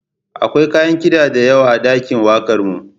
Akwai kayan kida da yawa a ɗakin wakarmu.